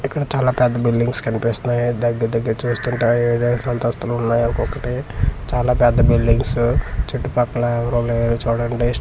ఇక్కడ చాలా పెద్ద బిల్డింగ్స్ కనిపిస్తున్నాయి దెగ్గర దెగ్గర చూస్తుంటే ఏడేస్తు అంతస్తులు ఉన్నాయి ఒక్కొక్కటి చాలా పెద్ద బిల్డింగ్స్ చుట్టూ పక్కల ఎవరూ లేరు చూడండి స్ట్రీట్ అంతా అయోద్య.